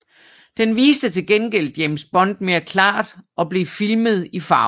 Denne viste til gengæld James Bond mere klart og blev filmet i farve